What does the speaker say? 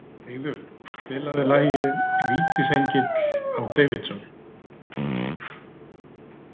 Eiður, spilaðu lagið „Vítisengill á Davidson“.